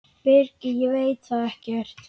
Birgir: Ég veit það ekkert.